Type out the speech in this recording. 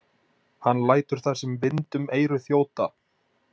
Hann lætur það sem vind um eyru þjóta.